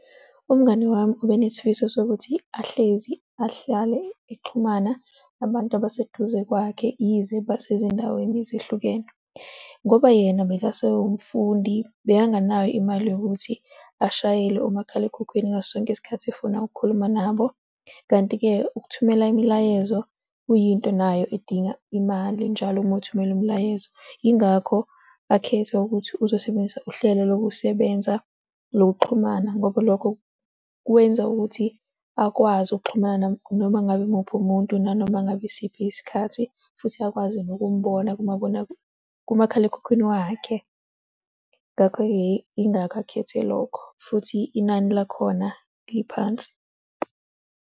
Umngani wami ubenesifiso sokuthi ahlezi ahlale exhumana nabantu abaseduze kwakhe yize basezindaweni ezihlukene. Ngoba yena bekasewumfundi bekanganayo imali yokuthi ashayele umakhalekhukhwini ngaso sonke isikhathi efuna ukukhuluma nabo. Kanti-ke ukuthumela imilayezo kuyinto nayo edinga imali njalo uma uthumela imilayezo. Yingakho akhetha ukuthi uzosebenzisa uhlelo lokusebenza lokuxhumana ngoba lokho kwenza ukuthi akwazi ukuxhumana noma ngabe muphi umuntu nanoma ngabe isiphi isikhathi futhi akwazi nokumbona kumakhalekhukhwini wakhe. Ngakho-ke ingakho akhethe lokho futhi inani lakhona liphansi.